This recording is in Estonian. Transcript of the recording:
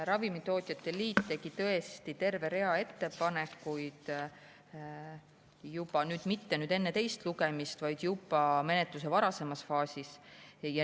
Ravimitootjate liit tegi tõesti terve rea ettepanekuid, seda mitte nüüd enne teist lugemist, vaid juba menetluse varasemas faasis.